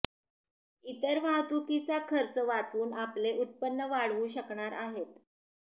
इतर वाहतूकीचा खर्च वाचवून आपले उत्पन्न वाढवू शकणार आहेत